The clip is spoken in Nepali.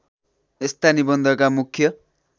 यस्ता निबन्धका मुख्य